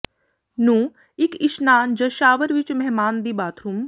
ਨੂੰ ਇੱਕ ਇਸ਼ਨਾਨ ਜ ਸ਼ਾਵਰ ਵਿਚ ਮਹਿਮਾਨ ਦੀ ਬਾਥਰੂਮ